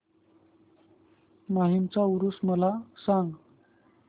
माहीमचा ऊरुस मला सांग